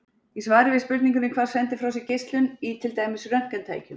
Í svari við spurningunni Hvað sendir frá sér geislun, í til dæmis röntgentækjum?